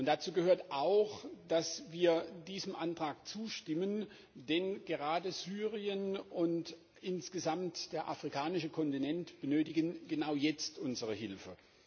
Dazu gehört auch, dass wir diesem Antrag zustimmen, denn gerade Syrien und der afrikanische Kontinent insgesamt benötigen genau jetzt unsere Hilfe.